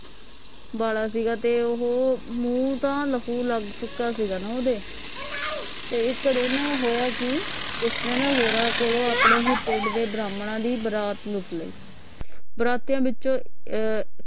ਵਾਲਾ ਸੀਗਾ ਤੇ ਉਹ ਮੂੰਹ ਤਾਂ ਲਕੁ ਲਗ ਚੁਕਾ ਸੀਗਾ ਮੂੰਹ ਦੇ ਤੇ ਇਕ ਦਿਨ ਹੋਇਆ ਕਿ ਕਿਸਨੇ ਨੇ ਹੋਰਾਂ ਕੋਲੋਂ ਆਪਣੇ ਹੀ ਪਿੰਡ ਦੇ ਬਰਾਹਮਣਾ ਦੀ ਬਰਾਤ ਲੁੱਟ ਲਈ ਬਰਾਤੀਆਂ ਵਿੱਚ ਅਹ